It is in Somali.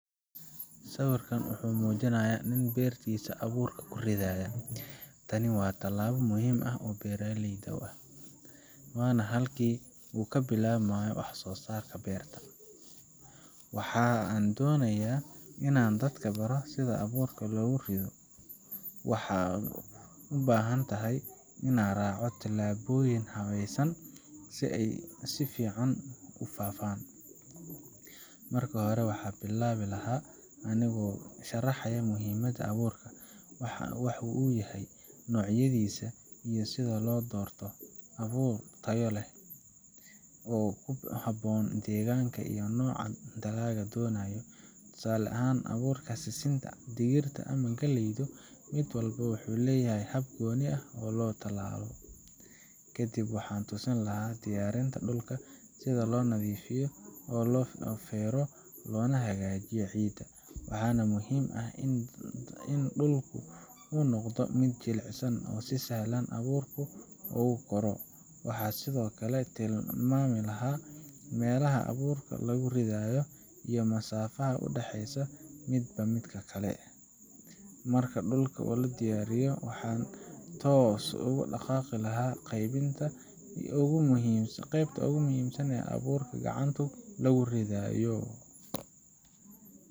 Sawirkan waxa uu muujinayaa nin beertiisa abuur ku ridaya. Tani waa tallaabo muhiim ah beeraleyda u ah, waana halkii uu ka bilaabanayo wax soo saarka beerta. Marka aan doonayo inaan dadka baro sida abuurka loogu rido, waxaan u baahanahay inaan raaco tallaabooyin habaysan, si ay si fiican u faafan Marka hore, waxaan bilaabi lahaa anigoo sharaxaya muhiimadda abuurka: waxa uu yahay, noocyadiisa, iyo sida loo doorto abuur tayo leh oo ku habboon deegaanka iyo nooca dalagga la doonayo. Tusaale ahaan, abuurka sisinta, digirta, ama galleyda mid walba wuxuu leeyahay hab gooni ah oo loo tallaalo. Kadib, waxaan tusin lahaa diyaarinta dhulka: sida loo nadiifiyo, loo feero, loona hagaajiyo ciidda. Waxaa muhiim ah in dhulku uu noqdo mid jilicsan oo si sahlan ah abuurku ugu koro. Waxaan sidoo kale tilmaami lahaa meelaha abuurka lagu ridayo, iyo masaafada u dhaxeysa midba midka kale. Marka dhulka la diyaariyo, waxaan toos ugu dhaqaaqi lahaa qeybta ugu muhiimsan abuurka gacanta loogu ridayo.